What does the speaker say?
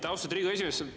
Austatud Riigikogu esimees!